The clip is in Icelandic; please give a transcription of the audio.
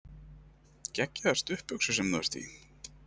Geggjaðar stuttbuxur sem þú ert í!